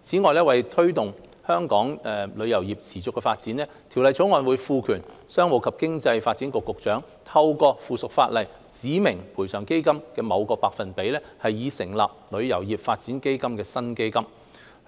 此外，為推動香港旅遊業持續發展，《條例草案》會賦權商務及經濟發展局局長，透過附屬法例指明賠償基金的某個百分比，以成立名為"旅遊業發展基金"的新基金，